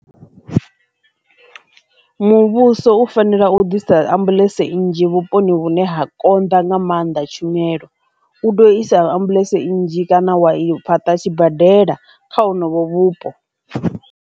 Muvhuso u fanela u ḓisa ambuḽentse nnzhi vhuponi vhune ha konḓa nga maanḓa tshumelo, u tea u isa ambuḽentse nnzhi kana wa fhaṱa tshibadela kha honovho vhupo.